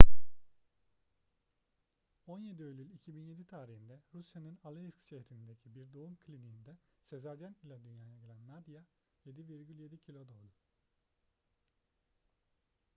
17 eylül 2007 tarihinde rusya'nın aleisk şehrindeki bir doğum kliniğinde sezaryen ile dünyaya gelen nadia 7,7 kilo doğdu